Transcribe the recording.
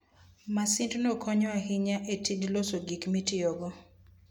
Masindno konyo ahinya e tij loso gik mitiyogo.